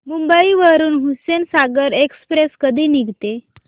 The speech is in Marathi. मुंबई वरून हुसेनसागर एक्सप्रेस कधी निघते